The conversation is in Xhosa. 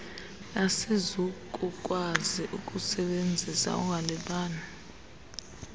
asizukukwazi ukusisebenzisa ungalibali